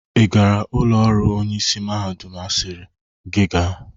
Ị gara ụlọ ọrụ onyeisi mahadum asiri gị ga?